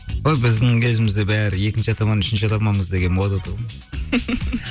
ой біздің кезімізде бәрі екінші атаман үшінші атаманбыз деген мода тұғын